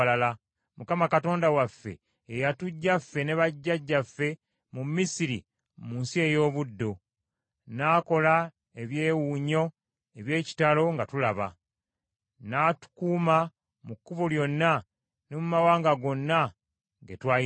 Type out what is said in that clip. Mukama Katonda waffe ye yatuggya ffe ne bajjajjaffe mu Misiri mu nsi ey’obuddu, n’akola ebyewuunyo eby’ekitalo nga tulaba, n’atukuuma mu kkubo lyonna ne mu mawanga gonna ge twayitamu.